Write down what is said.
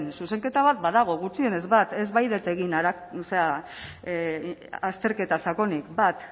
zuzenketa bat badago gutxienez bat ez baitut egin azterketa sakonik bat